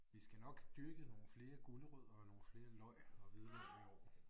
Vi skal nok dyrket nogle flere gulerødder og nogle flere løg og hvidløg i år